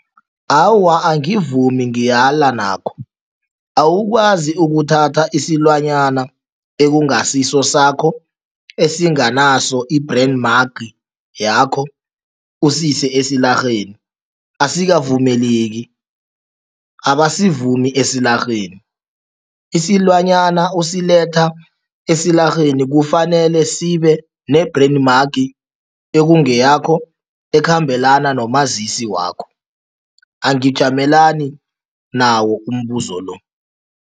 Awa, angivumi, ngiyala nakho. Awukwazi ukuthatha isilwana ekungasiso sakho, esinganaso i-brand mark yakho, usise esilarheni, asikavumeleki, abasivumi esilarheni. Isilwanyana osiletha esilarheni kufanele sibe ne-brand mark ekungeyakho ekhambelana nomazisi wakho, angijimelani nawo umbuzo lo.